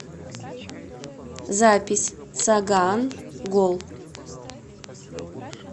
запись сагаан гол